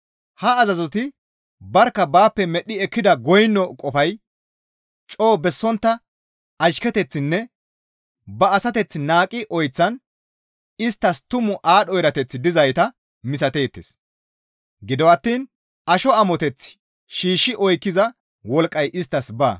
Ha azazoti barkka baappe medhdhi ekkida goyno qofay coo bessontta ashketeththinne ba asateth naaqqi oyththan isttas tumu aadho erateththi dizayta misateettes; gido attiin asho amoteth shiishshi oykkiza wolqqay isttas baa.